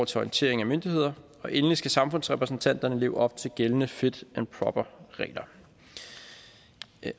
til orientering af myndigheder og endelig skal samfundsrepræsentanterne leve op til gældende fit proper regler